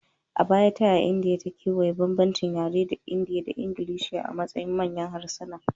A baya, ta yaya Indiya ta kewaya bambancin yare da Hindi da Ingilishi a matsayin manyan harsuna?